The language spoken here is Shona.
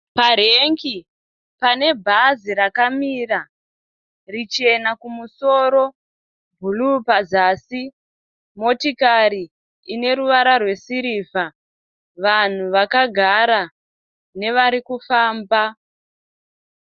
Parengi panebhazi rakamira richena kumusoro bhuruu pazasi motokari Ineruvara rwesirivha vanhu vakagara nevarikufamba